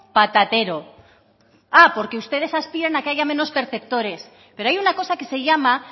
patatero ah porque ustedes aspiran a que haya menos perceptores pero hay una cosa que se llama